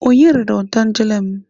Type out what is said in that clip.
Onye rara otangele m?